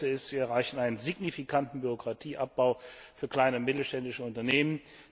Erstens Wir erreichen einen signifikanten Bürokratieabbau für kleine und mittelständische Unternehmen.